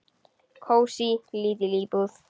Kósí, lítil íbúð.